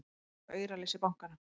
Hvar var þá auraleysi bankanna!